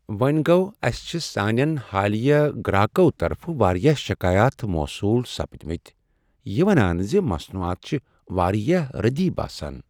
وونہ گو٘و، اسہ چھ سانین حالیہ گر٘اكو طرفہٕ واریاہ شکایات موصول سپدِمٕتۍ یہ ونان زِ مصنوعات چھ واریاہ ردی باسان۔